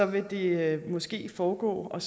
vil det måske foregå og